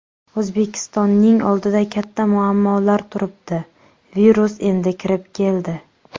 O‘zbekistonning oldida katta muammolar turibdi, virus endi kirib keldi.